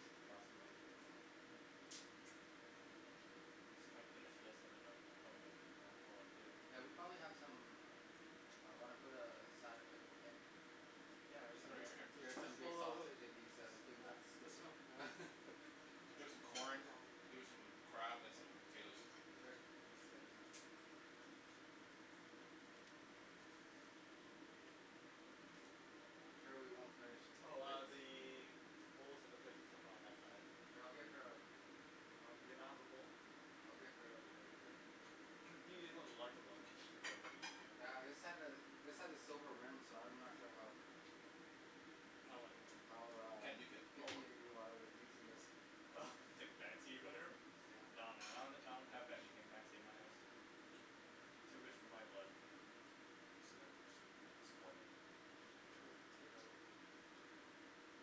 lots in there. Oh. I'm just gonna finish this and then I'm probably Yeah. gonna call it. Yeah we probably have some. Ah wanna put a a side of plate for Kim? Yeah Get her we could some do b- that. get her some big Ho- ho- sausage and hold. these uh The big whole nuts. There's This one. som- There's some corn, there some crab and some potatoes. I'm sure we won't finish. Oh ah the bowls and the plates and stuff are on that side. We'll get her a Oh do we not have a bowl? Oh okay. you can use one of the larger ones it'll be probably easier. Yeah this has a this has a silver rim so I'm not sure how. How what? How You ah can't nuke it. Oh picky wha- you are with using this. Hmm Oh like or whatever? Nah man I don- don't that have anything fancy in my house. Too rich for my blood. What's the matter a piece a piece of corn there.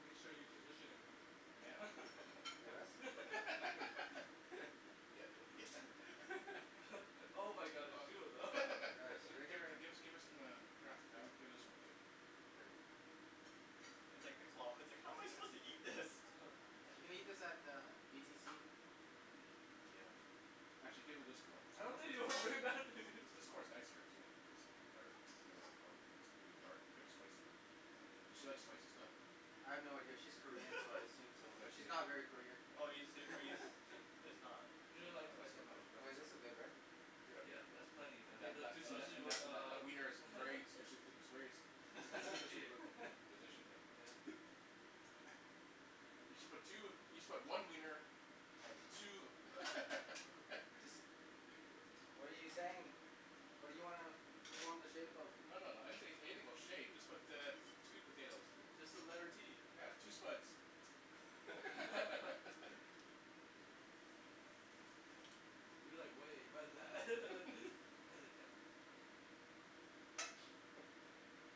Make sure you position it right. us. Yeah can just can I Give get her her. give her some um crab Yeah. give this one too. Okay. It's like the claw, it's I like "how am I suppose to can't. eat this"? She can eat this at the BTC. Yeah. Actually give her this corn. I don't think This corn's nicer actually or good looking corn pretty dark here's spicy. Does she like spicy stuff? I have no idea, she's Korean so I assume so Oh yeah but she's not very Korean. Oh are you she's seri- are you ser- it's not. You don't like spice that much. Well like this is good right? Yup, that's plenty And and then that those that two that sausages and that that uh that wiener is very is very strategically positioned. Yeah. You should but two you should put one wiener and two. What are you saying? What do you wanna form the shape of? No no no I didn't say anything about shape just put uh two potatoes. Just the letter T. Yeah two spuds. You're like way what's that hesitant.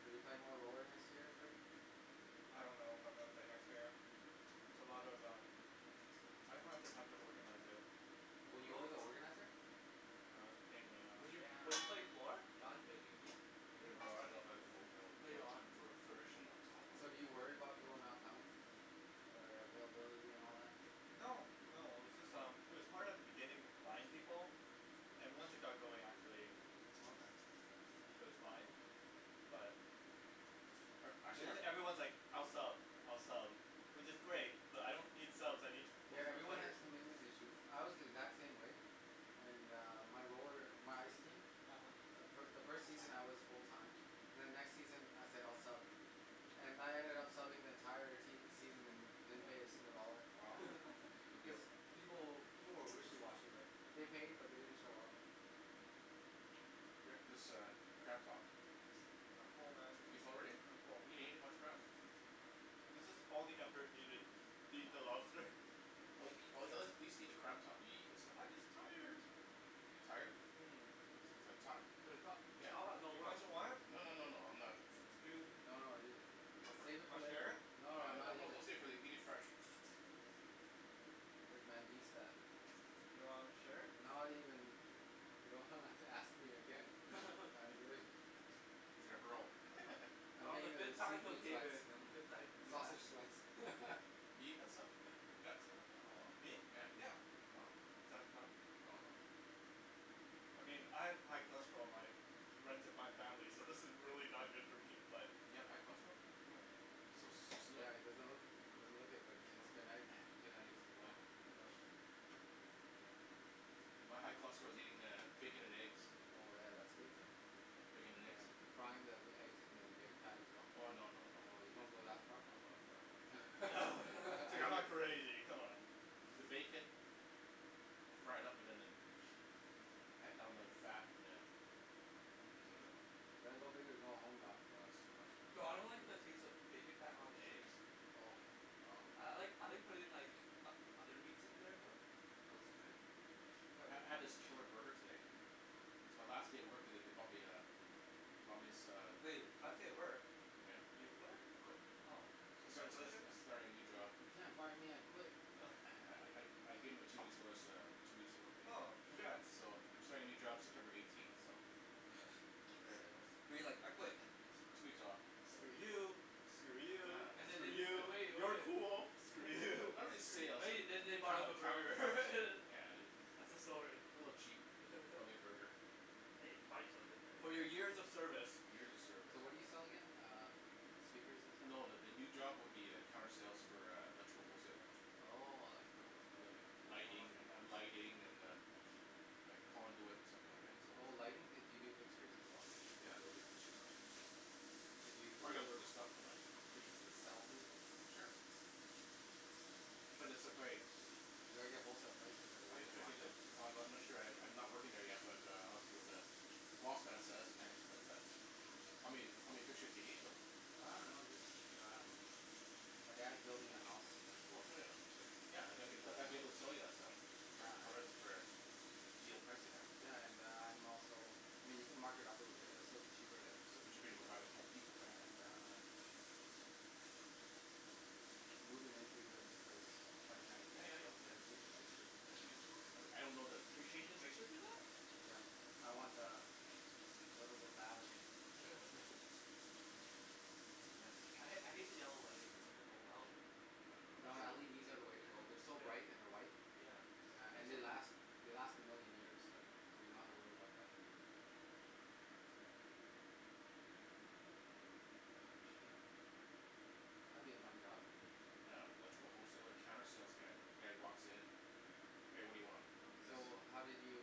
Are you playing more roller next year Rick? I don't know if I'm gonna play next year. It's a lot of um. I just don't have the time to organize it. Oh you were the organizer? No it was a pain in the Would ass. you would you play four Don's making a team. Hum? Oh I love o o o Later on. o o furnishing them. So do you worry about people not coming? Or uh availability and all that? No, no, it was just um it was hard at the beginning to find people and once Hmm it got going actually Oh okay. it was fine. But But It actually jus- everyone's like I'll sub I'll sub which is great but I don't need subs I need pa- Yeah everyone players. has commitment issues, I was the exact same way. And uh my roller my ice team. uh-huh The fi- the first season I was full time. Then the next season I said I'll sub. And I ended up subbing the entire season. Yeah, wow, good deal. People will people were wishy washy right. They paid uh-huh but they didn't show up. Rick this uh crab top. I'm full man, Are you full already? I'm full. You didn't each much crab. This is all the effort we did to eat the Oh. lobster. Or eat a at least eat the crab top you eat this stuff? I'm just tired. You're tired? um The Yeah. top has no You no no guys don't want it? No no no no no I'm I'm not. not. You No no ju- Go for it. Save it for Wanna share later. it? No No no not no even. don't save it eat it fresh. Rick man beast that. Do you wanna share it? Not even. You don't ha- have to ask me again I'm good. He's gonna hurl. I'm getting uh seafood sweats. complicated. Sausage sweats. Me? Yeah. Is that not I mean I have high cholesterol, my runs in my family so this is really not good for me but You have high cholesterol? Hmm You so so slim. Yeah it doesn't look doesn't look it but i- its uh-huh. genetic. Oh. No. My high cholesterol is eating uh bacon and eggs. Bacon and eggs. Frying the eggs in the bacon fat as well? Oh no no no. You don't go that No I far? don't go Dude that far man. I'm not anything come on. You gotta go big or go home Don. Nah that's too much man. No I don't like the taste of bacon fat on the eggs. I like I like putting in like o- other meats in there though. I ha- had this killer burger today. It's my last day at work today they bumped me uh they bumped as- uh Hey, last day at work. Yeah. You quit? I quit. Oh. I sta- sta- Congratulations. I starting a new job. Uh No I I I gave em a two weeks notice that I'm two weeks ago Oh right. congrats. So I'm starting a new job September eighteenth but like So We're you're you like like I "I quit. quit"? two weeks off. So Screw yay. you. For Screw you, real, And then for screw they Yeah you, you. so cool. Screw Screw you. you. and then they bought him Oh. a burger Yeah. That's the story. A little chap bought me a burger. Hey they bought you something ri- For For your your years years of of service. service. Years of So what service. do you sell again? um speakers and No the the new stuff. job would be uh counter sale for uh electrical wholesaling. Oh electrical whole Yeah like seller. lighting an- lighting and uh Like conduit and stuff like that so. Oh lighting do yo- do you do fixtures as well? Yeah they'll do fixture and that. Could you? I gotta learn the stuff though right? Could you sell me fixtures? Sure. But it's just like. Do I get wholesale prices or I gotta do you check it markup? yet. Oh I I'm not sure I I'm not working there yet but uh I'll see what the prospects says but uh How many how many fixtures do you need though? I don't know just um my dad's building a house that's Oh it. yeah yeah okay. Yeah I'd get I'd be able to Um sell you that stuff. Yeah I For a would. for a deal pricing right so. Yeah and uh I'm also I mean you can mark it up a little bit it will still be cheaper then still be cheaper than buy at HomeDepot right and uh moving into a new place twenty ninth of Yeah yeah April I'm yeah, gonna yeah change the fixtures. easier. I I don't that Can yo- your fixtures do that? Yeah I want uh a little bit lavish. I ha- I hate the yellow lighting. Yeah. No LEDs are the way to go they're so Yeah. light and they're white. Yeah. Yeah and they last. They last a million years Yeah. so you don't have to worry about them. That'll be a fun job. Yeah electrical wholesaler counter sales guy the guys who walks in hey what do you want? So how did you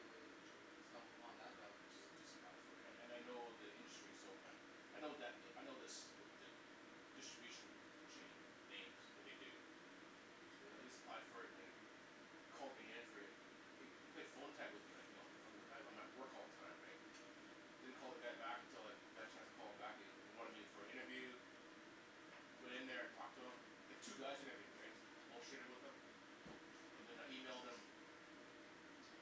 stumble upon that job? I just just applied for it and and I know the industry so I know that I know this the the distribution chain names what they do so then I just applied for it and they called me in for an they they played phone tag with me like you know I I'm at work all the time right I don't call the guy back until like I got a chance to call him back he he wanted me for an interview went in there talked to him there's two guys that interviewed me right just bull shitted with them and then I emailed them.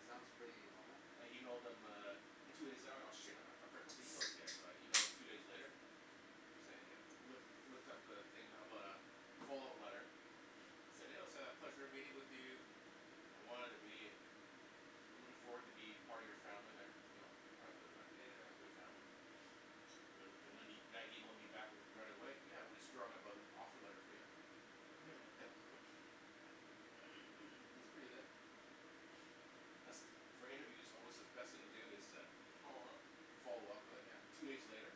Sounds pretty normal. I emailed them uh two days out oh shit I I forgot to email those guys so I emailed two days later to say hey loo- looked up the thing about uh follow-up letter said oh said "it was a pleasure meeting with you" I wanted to be I'm looking forward to be part of your family there part of the Yeah. company family. And the- then the guy emailed me back right away "yeah we're just drawing up an offer letter for you". Hmm That's pretty good. For interview it's alway the best thing to do is to follow-up with it Yeah two days later.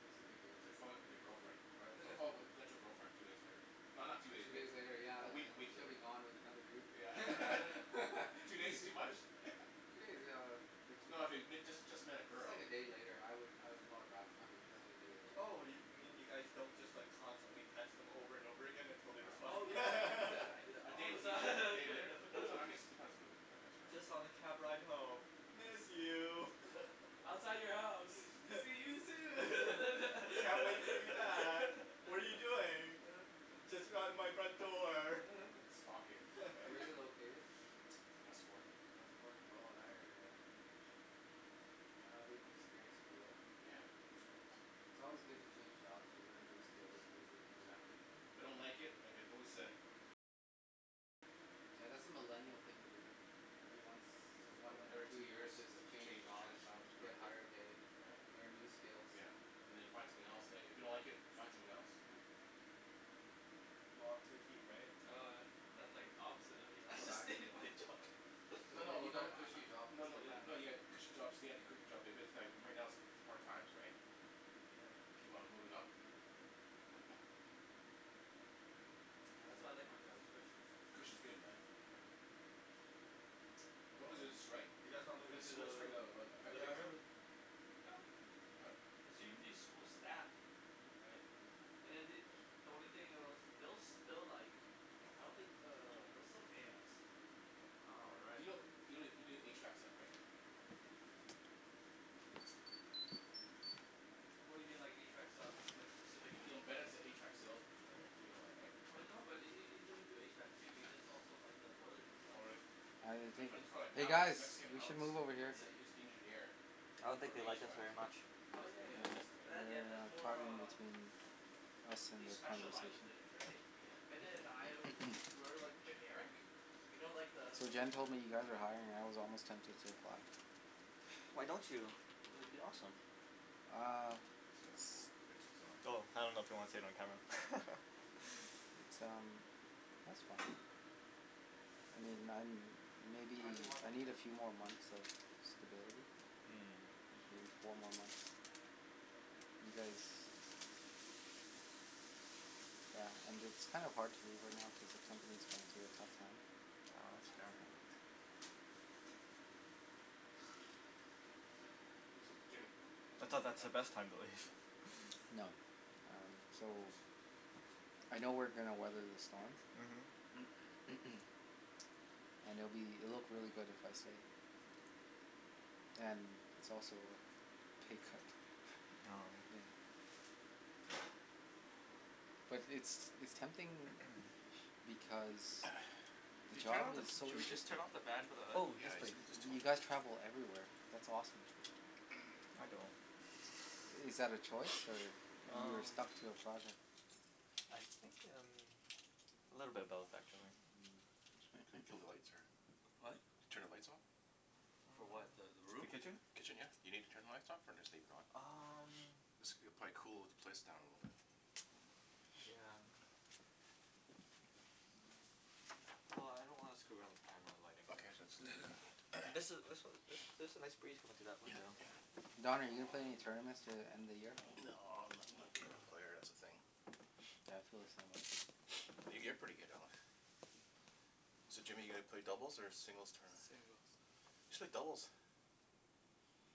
that's a big deal. It's like following up with your girlfriend right follo- followup with a potential girlfriend two days later not not two days Two days later later year a uh uh week a week she'll later. be gone with another dude. Yeah. Two days too much? No I fig- if you just just met a Just girl. like a day later I would I would call her back if I'm interested a day later. Oh yo- you mean you guys don't just like constantly text them over and over again until they respond? No Oh yeah I do no. that I do that A day all the a day later time. depends I guess it depends on the woman I guess right. Just on the cab ride home, "Miss you". I don't know "Outside man. your house see you soon". "Can't wait to hear you back. What are you doing"? "Just around out my front door." Stalking. Where's it located? It's west fourth. West fourth oh that area eh? That'll be anew experience for you eh? Yeah hear it's nice. It's alway good to change jobs you learn new skills and meet new people. Exactly. If I don't like it I can always uh Yeah that's a millennial thing to do ever once Too one or Every millennial. two two years year just just change change change jobs. jobs you for, get higher pay yeah, learn new skills. yeah And then you find something else and and if you don't like it find something else. Yeah. Ah too cute right? Oh that- that's like opposite of That's what the I did. of what I do. No No but you no. got a cushy job. No no, no you have Yeah. a cushy job stay at the cushy job but but that right right now it's hard times right. Keep on moving up. Yeah that's why I like my job its cushy. Cushy's good man. What was the Um strike you guys want to the school the strike that that um effected Yeah you living let's right? room? move. Yup. Hmm? It's usually school staff. Hmm Right and then they the only thing else they- they'll like I don't think uh they'll still pay us. Hmm All Do right. you kno- you can do HVAC stuff right? What do you mean like HVAC stuff? Like Yo- specifically. you know Bennett's an HVAC sales person right? You know that right? But no but he he he doesn't do HVAC too he does also like the boilers and Oh stuff. really? I don't My Yeah. think, frie- friend hey Alex, guys Mexican we should Alex, move in here. is Yeah. is the engineer. Yeah. I don't For think they like us HVAC very stuff. much. He Oh does and he yeah does No yeah estimate. but that's yeah they're that's uh more caught uh between us he and their specializes conversation. in it right? Bennet and I we- we're like generic you know like the So Gimme gimme Jen simplify. told me you guys are the hiring and I was almost tempted to apply. Why don't you? It would be awesome. uh That's a four rinse this off. Though, I don't know if you want to say it on camera. It's um that's fine I mean I'm I didn't maybe wash I my need a hands. few more months of stability Hmm like maybe four more months you guys yeah and it's kinda hard to leave right now cause the company's going through a tough time Ah that's fair. Yeah Jimmy ca- can I I have some thought more that's the napkins best time to leave. No. Um so I know we're gonna weather the storm. uh-huh And it'll be it'll look really good if I stay and its also pay cut. Oh. Yeah but it's it's tempting because the Did you turn job of- is so should we just interesting. turn off the fan for the hood? Yeah Oh yes yeah I please. just told you him that. guys travel everywhere that's awesome. I don't. I- is that a choice or you're Umm stuck to a project? I think umm a little bit of both actually. Hmm Kill the lights or? What? Turn the lights off? For what the the Oh the room? kitchen? Kitchen yeah. You need to turn the lights off or just leave it on? Umm this it'll cool the place down a little bit. Yeah. If I can. Well I don't want to screw around with the camera the lighting, so Okay I'm jus- just just leave gonna it leave it. And this this then. was there's a nice breeze coming through that Yup window. yeah. Don are you gonna play in any tournaments to the end of the year? Nah I'm not not good of a player that's the thing Yeah I feel the same way. yo- you're pretty good Alex. So Jimmy your gonna play singles or doubles tournament? Singles. You should play doubles.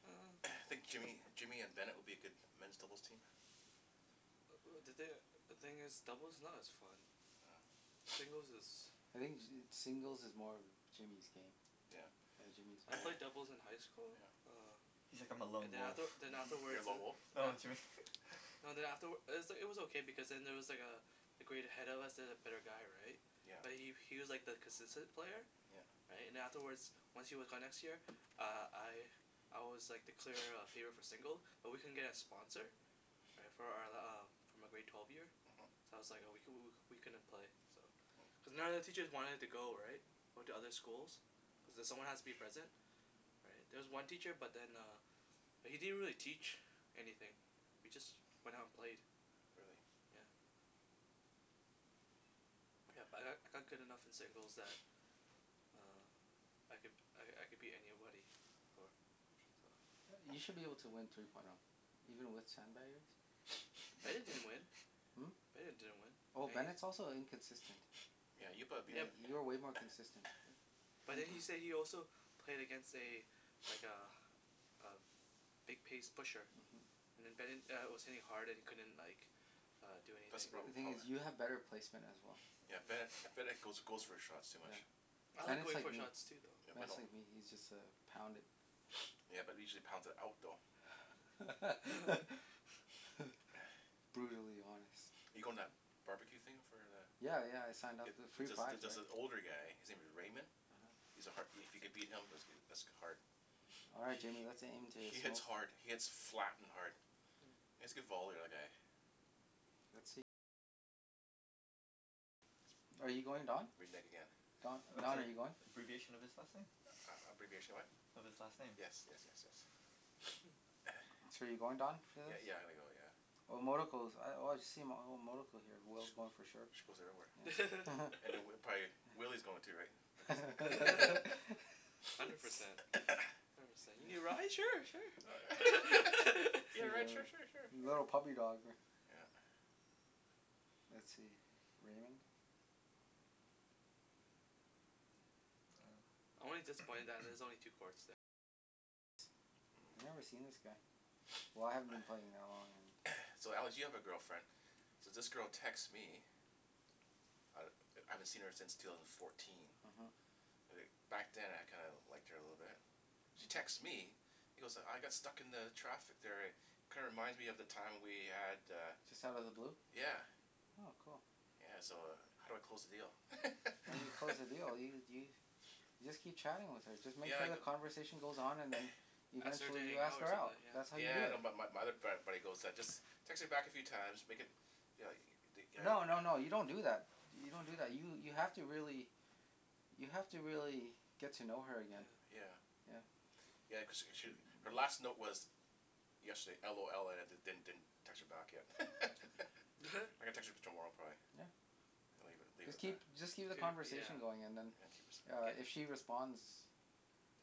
hmm I think Jimmy Jimmy and Bennet would be a good men's doubles team. Uh uh the thin- the thing is doubles is not as fun. oh Singles is. I think ju- singles is more Jimmy's game. Yeah. Yeah Jimmy's I played doubles in high school yeah. uh He's like "I'm a and lone then wolf". after then uh-huh. You're afterwards a lone wolf? dah. No Jimmy No then afterw- it was it was okay because then there was like uh a grade ahead of us there's a better guy right Yeah. but he he was like the consistent player Yeah. right and then afterwards once he was gone next year uh I I was like the clear uh favor for single but we couldn't get a sponsor right for our uh for my grade twelve year uh-huh. that's was like oh we couldn- we couldn't play cuz none of the teachers wanted to go right went to other schools cuz someone has to be present there was one teacher but then uh but he didn't really teach anything we just went out and played. Really? Yeah yeah but I I got good enough in singles that um I could I I could beat anybody for so. Yea- you should be able to win three point o even with sandbagger Bennet bet play. didn't win. Hmm? Bennet didn't win Oh and he. Bennet's also inconsistent. yeah you'll probably beat Yeah Yeah Bennet b- you're way more consistent. but then he say he also played against a like a a big pace pusher uh-huh. and then Bennet uh was hitting hard and he couldn't like uh do That's the anything The proble- thing hum eh? is you have better placement as well. yeah Yeah. Bennet Bennet goes goes for shots too much. Yeah. I like Bennet's going like for me. shots too though. Yeah but Bennet's don't. like me he just uh pound it. Yeah usually he's pounds it out though. Brutally honest. you goin- to that bar-b-que thing for the? Yeah yeah I signed Jup up it for the it free prize jus- just right. an older guy his name is Raymond.. uh-huh. He's a har- if you can beat him that's goo- that's hard All right he Jimmy he, let's aim to he hits smoke. hard, he hits flat and hard. Hm. He has a good volley the other guy. Are you going Don? Renege again. Uh Don, that's Don are you going? abbreviation of his last name. A- abbreviation of what? Of his last name. Yes, yes yes yes. So you're going Don for Yeah this? yeah I'm gonna go yeah. Oh I've oh I've seen oh here whoever's going for sure. She goes everywhere. And then prob- probably Willy's going to right because. Hundred percent. you need a ride sure sure. You wanna a ride sure li- sure sure sure. little puppy dog ri- Yeah. Let's see Raymond. Hmm. I've never seen this guy. Why I haven't been playing that long and. So Alex you have a girlfriend. So this girl texts me I I haven't seen her since two thousand and fourteen uh-huh. uh back then I kinda liked her a little bit she texts me Mm. you know so I got stuck in the traffic there eh kinda reminds me of the time we had uh Just outta the blue? yeah Oh cool. yeah so uh how do I close the deal? How do you close the deal? Do you do you- You just keep chatting with her just make Yeah I sure the cu- conversation goes on and then you Ask her to eventually hangout ask or her out, something that's yeah. how you Yeah do I know it. bu- but my other frat buddy goes just text her back a few time make it you know the th- No no no you don't do that do- you don't do that you have to really you have to really get to know her again. Yeah. Yeah. Yeah cause she sh- her last note was yesterday LOL and I didn- didn't text her back yet I'm What? gonna text her tomorrow probably Yeah. and leave leave it Just at that keep just keep the do yeah conversation going and then yeah keep it uh get if she responds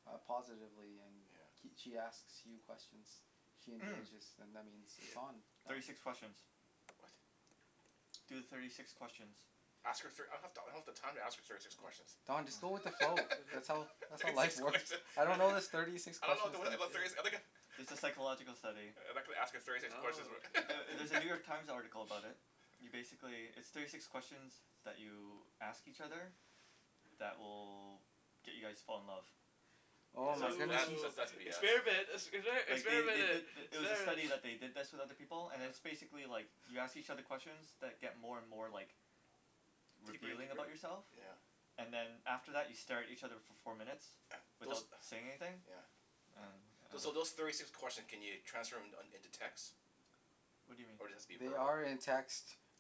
uh positively and yeah kee- she asks you questions she Umm engages then that means it's on thirty Don six questions what? Do the thirty six questions. Ask her thir- I don- I don't have the time to ask her thirty six Oh questions Don just go with the Oh flow that's all that's thirty how six life works questions I I don't don't know this thirty six I don't know questions abo- thing about thirty si- yeah I'm gonna It's a psychological study. Uh I'm not gonna ask her thirty six I questions wh- don't know. Ther- there's a New York Times article about it. You basically, there's thirty six questions that you ask each other that will get you guys to fall in love. Yeah Oh my So goodness. that's that's Oh that's BS experiment expe- Like they experiment they did it th- it was a experiment. study that they did this with other people and it's yeah basically like you ask each other questions that get more and more like deeper and revealing deeper about yourself. yeah yeah And then after that you stare at each other for four minutes those without saying anything yeah And Those umm so those thirty six questions can you transfer them in into text? What do you mean? Or does it have be They verbal? are in text.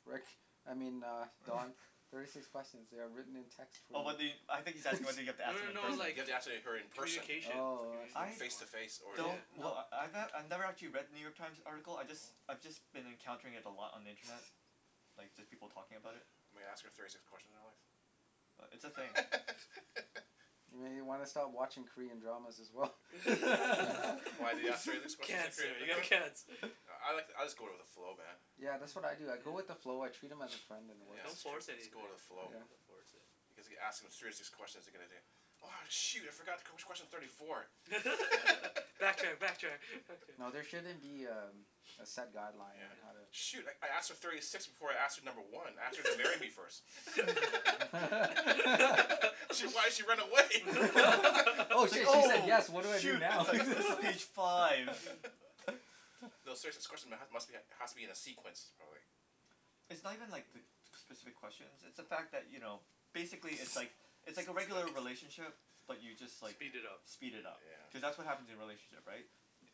Rick, I mean uh Don thirty six question. they are written in text for Oh well, you I I think he's asking whether you have to No ask them no in no Do person. you like have to ask he- her co- in person? communication Oh I see. I Face to face or one yeah? wel- yeah don't wel- kno- I ne- I've never actually read the New York Times article I Hmm jus- hmm I've just been encountering it a lot on the internet. Like just people Hm talking about it. I'm gonna ask her thirty six questions Alex. But it's a thing. Maybe you wanna stop watching Korean dramas as well. Yeah. Why do they ask thirty six questions in Korean cancer you have dram- ? cancer. I like I'll just go with the flow man. Yeah yeah that's what I do I go with the yeah. flow I treat them as a friend and it Yeah, works yeah don't its true force just anything, go with the yeah you flow. don't Yeah. have to force it. Because if you ask them thirty six questions you're gonna do "oh shoot I forgot wh- which question's thirty four". backtrack backtrack, backtrack. No there shouldn't be um a set guideline Yeah. on Yeah. how to Shoot I I asked her thirty six before I asked her number one, I asked her to marry me first. shit why'd she run away? oh it's like shit she said oh yes what do I do shoot it's now like this is page five. uh-huh No serious- this question must be has to be in a sequence probably. It's not even like the specific questions it's the fact that Hm you know basically it's like it's It's like a all regular right. relationship but you just like, Speed it up. Yeah. speed it up Yeah. Cuz that's what happens in relationship right?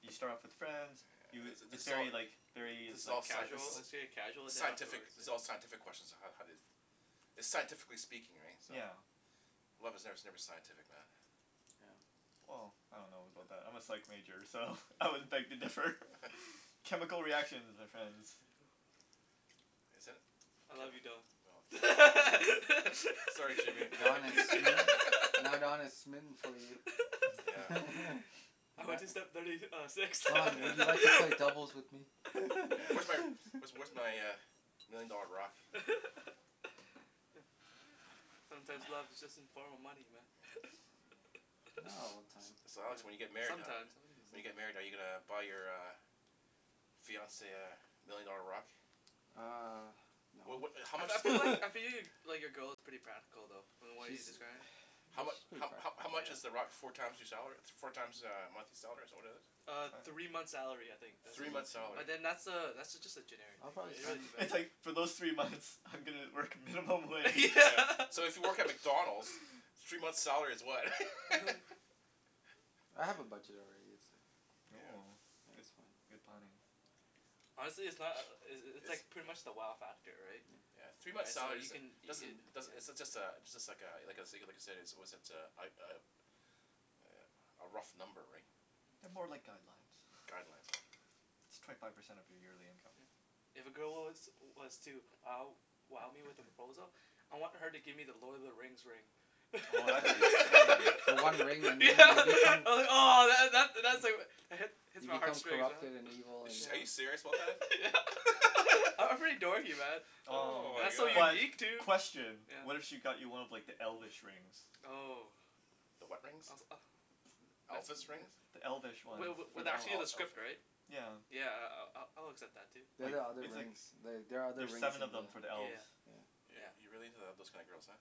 You start off as friends you, yeah thi- it's this is all very like very this is like all sci- casual superficial. it's a casual sci- the scientific this is all scientific question on how how they It's scientifically speaking right, so? Yeah. Love is ne- never scientific man. Well I don't know about that, I'm a psych major so I would beg to differ, chemical reactions my friends. uh-huh Is it? I love you Ca- Don. no fo Sorry Jimmy I'm taken. Don is smi- now Don is smitten for you. Yeah. I went to step thirty uh six Don would you Yeah. like to play doubles with me? Yeah where's where's where's my million dollar rock? hm Sometimes love is just in form of money man Yeah. Not all the time. So Alex when you get Yeah married how- sometimes When you get married are uh-huh you uh gonna buy your uh fiance uh million dollar rock? uh Well no what how I much? I feel like I feel like your girl is pretty practical though from what She uh you described. How yeah she's mu- pretty how how practical. how much is the rock four times your salary? Four times uh a monthly salary is that what it is? uh Three three months' months' salary. salary. I'll probably spend It's like for those three months I'm gonna work minimum wage. Yeah so if you work at McDonalds three months' salary is what? I have a budget already. Yeah. Oh good That's fine. good planning. Honestly it's not uh uh it's it's pretty much the wow factor right. yeah yeah three months' right so salary you can doesn't doesn't uh does- it's just a it's just like uh like I said like I like I said a a was it uh uh a rough number right They're more like guidelines guidelines right It's twenty five percent of your yearly income. Yeah. If a girl was was to wow wow me with a proposal I want her to give me the Lord of the Rings ring Oh that'd be insane yeah ahh that that's Hmm hits You my heart become straight corrupted and evil and Ar- are you yeah serious yeah I'm pretty dorky man Ohh Oh That's so my but God. unique too question, what if yeah. she got you one of like the elfish rings? Oh The what rings? I was ah uh that's Elvis rings? yeah The elfish ones, wa- for was the elves, actually in Oh the script elvish right? yeah. yeah I- I'll- I'll accept that too. They're Like the other it's like rings the- they are other there's rings seven of in them the for the elves. yeah yeah You're yeah you're really into uh those kinds of girls huh?